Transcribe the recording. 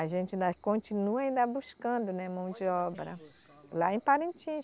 A gente ainda continua ainda buscando, né, mão de obra lá em Parintins.